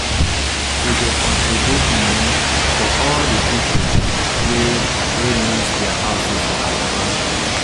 We go contribute money for all the people wey wey lose their houses for Alaba